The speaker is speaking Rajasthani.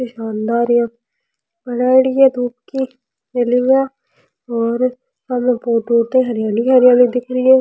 ये शानदार यहाँ धुप की और हमें बोहोत दूर तक हरियाली हरियाली दिख री है।